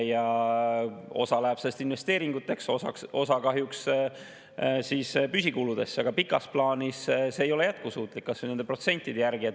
Osa sellest läheb investeeringuteks ja osa kahjuks püsikuludeks, aga pikas plaanis see ei ole jätkusuutlik, kas või nende protsentide järgi.